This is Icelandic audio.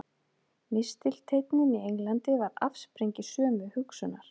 Mistilteinninn í Englandi var afsprengi sömu hugsunar.